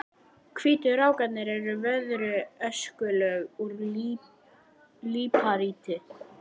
Hvítu rákirnar eru veðruð öskulög úr líparíti.